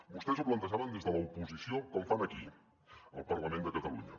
vostès ho plantejaven des de l’oposició com fan aquí al parlament de catalunya